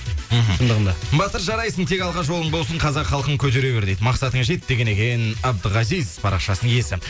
мхм шындығында батыр жарайсың тек алға жолың болсын қазақ халқын көтере бер дейді мақсатыңа жет деген екен абдіғазиз парақшасының иесі